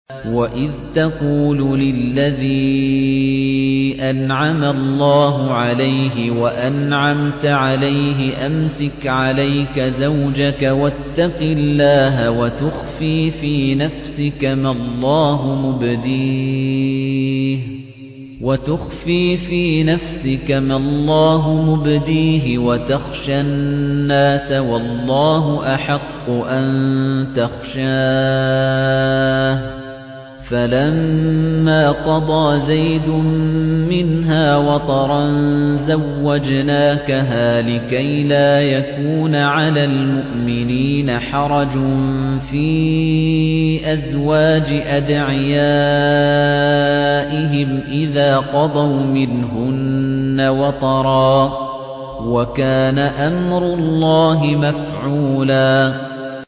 وَإِذْ تَقُولُ لِلَّذِي أَنْعَمَ اللَّهُ عَلَيْهِ وَأَنْعَمْتَ عَلَيْهِ أَمْسِكْ عَلَيْكَ زَوْجَكَ وَاتَّقِ اللَّهَ وَتُخْفِي فِي نَفْسِكَ مَا اللَّهُ مُبْدِيهِ وَتَخْشَى النَّاسَ وَاللَّهُ أَحَقُّ أَن تَخْشَاهُ ۖ فَلَمَّا قَضَىٰ زَيْدٌ مِّنْهَا وَطَرًا زَوَّجْنَاكَهَا لِكَيْ لَا يَكُونَ عَلَى الْمُؤْمِنِينَ حَرَجٌ فِي أَزْوَاجِ أَدْعِيَائِهِمْ إِذَا قَضَوْا مِنْهُنَّ وَطَرًا ۚ وَكَانَ أَمْرُ اللَّهِ مَفْعُولًا